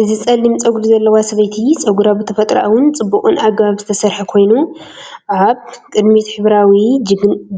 እዚ ጸሊም ጸጉሪ ዘለዋ ሰበይቲ ጸጉራ ብተፈጥሮኣውን ጽቡቕን ኣገባብ ዝተሰርሐ ኮይኑ፡ ኣብ ቅድሚት ሕብራዊ